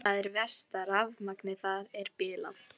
Það er verst að rafmagnið þar er bilað.